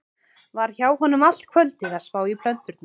Var hjá honum allt kvöldið að spá í plöturnar.